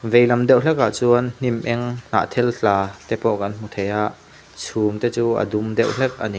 vei lam deuh hlek ah chuan hnim eng hnahthel tla te pawh kan hmu thei a chhum te chu a dum deuh hlek a ni.